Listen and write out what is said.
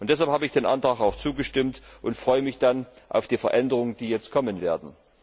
Deshalb habe ich dem Antrag auch zugestimmt und freue mich auf die Veränderungen, die jetzt kommen werden.